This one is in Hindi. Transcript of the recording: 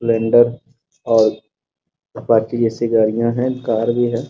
स्प्लेंडर और अपाची जैसी गाड़ियां हैं कार भी हैं।